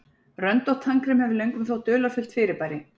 Röndótt tannkrem hefur löngum þótt dularfullt fyrirbæri.